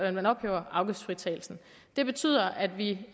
at man ophæver afgiftsfritagelsen det betyder at vi